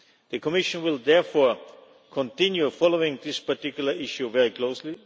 The Commission will therefore continue to follow this particular issue very closely.